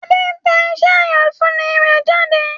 Adé ń tẹ iṣẹ́ àyànfúnni rẹ̀ jáde